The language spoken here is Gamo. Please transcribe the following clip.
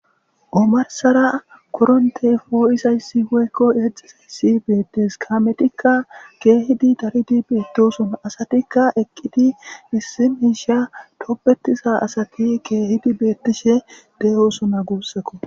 Qmarsara koronte foo7isa yssiwoykko eexxizay si beettes kametikka keehidi daridi beettosona asatikka eqqidi issimiisha toppetiza asati keehidi beettishe de7osona guussakko.